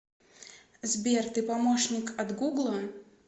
сбер ты помощник от гугла